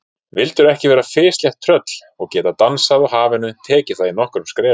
Vildirðu ekki vera fislétt tröll og geta dansað á hafinu, tekið það í nokkrum skrefum?